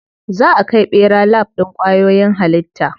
Za a kai ɓera lab ɗin kwayoyin halitta.